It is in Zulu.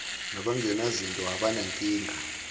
naban genazinto abanenkinga